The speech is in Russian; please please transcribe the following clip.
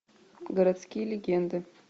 городские легенды